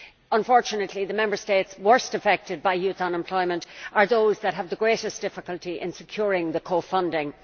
Unfortunately, the Member States worst affected by youth unemployment are those that have the greatest difficulty in securing the co funding.